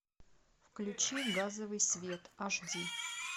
включи газовый свет аш ди